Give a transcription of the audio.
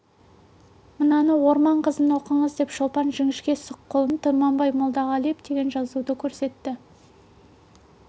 мынаны орман қызын оқыңыз деп шолпан жіңішке сұқ қолымен тұманбай молдағалиев деген жазуды көрсетті